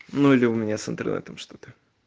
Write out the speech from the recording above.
ну или у меня с интернетом что-то